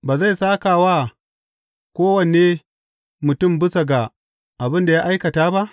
Ba zai sāka wa kowane mutum bisa ga abin da ya aikata ba?